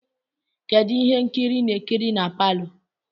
Kedu ihe nkiri ị na-ekiri na palọ?